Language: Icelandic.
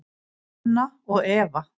Anna og Eva.